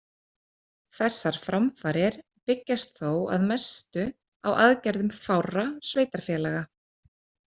Þessar framfarir byggjast þó að mestu á aðgerðum fárra sveitarfélaga.